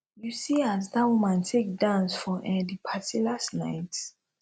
you see as dat woman take dance for um di party last night